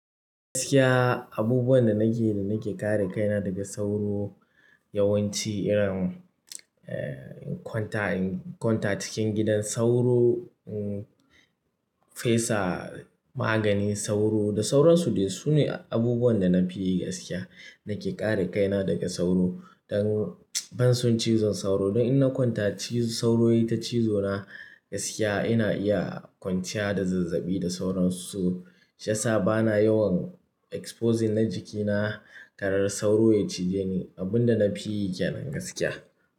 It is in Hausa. Gaskiya abubuwan da nake, da nake kare kaina daga sauro yawanci irin, eh, in kwanta, in kwanta cikin gidan sauro, mmh, fesa maganin sauro da sauransu ne. Sune abubuwan da na fi yi gaskiya, nake kare kaina daga sauro don banson cizon sauro don in na kwanta cizo-- sauro ya ci zona gaskiya ina iya kwanciya da zazzaɓi da sauransu. Shiyasa bana yawan exposing na jikina kar sauro ya cije ni abun da na fi yi kenan gaskiya.